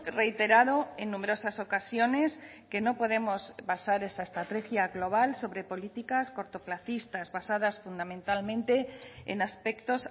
reiterado en numerosas ocasiones que no podemos basar esa estrategia global sobre políticas cortoplacistas basadas fundamentalmente en aspectos